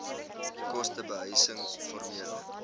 koste behuising formele